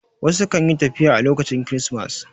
Wasu kan yi tafiya a lokacin kirismas